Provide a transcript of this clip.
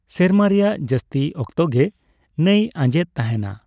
ᱥᱮᱨᱢᱟ ᱨᱮᱭᱟᱜ ᱡᱟᱥᱛᱤ ᱚᱠᱛᱚ ᱜᱮ ᱱᱟᱹᱭ ᱟᱸᱡᱮᱫ ᱛᱟᱦᱮᱱᱟ ᱾